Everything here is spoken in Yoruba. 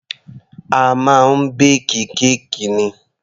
A máa ń bake kéèkì ni.